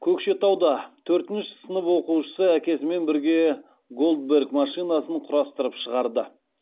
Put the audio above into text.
көкшетауда төртінші сынып оқушысы әкесімен бірге голдберг машинасын құрастырып шығарды